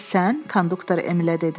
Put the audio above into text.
Konduktor Emilə dedi.